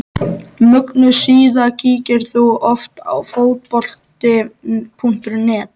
Mögnuð síða Kíkir þú oft á Fótbolti.net?